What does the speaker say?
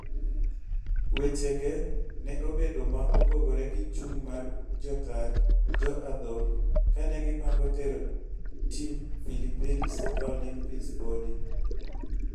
weche ge ne obedo ma opogore gi chung mar jotaa jo adhong kane gi pango tero tim Phillipines ka Olympis podi